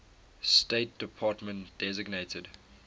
state department designated